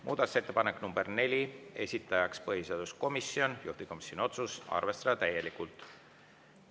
Muudatusettepanek nr 4, esitajaks põhiseaduskomisjon, juhtivkomisjoni otsus: arvestada täielikult.